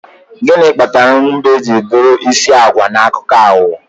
gịnị kpatara mbe ji bụrụ isi agwa na akụkọ aghụghọ